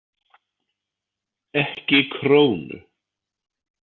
Ekki krónu.